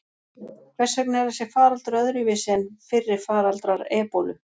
Hvers vegna er þessi faraldur öðruvísi en fyrri faraldrar ebólu?